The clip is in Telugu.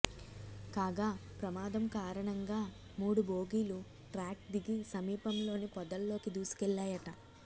కాగా ప్రమాదం కారణంగా మూడు బోగీలు ట్రాక్ దిగి సమీపంలోని పొదల్లోకి దూసుకెళ్లాయట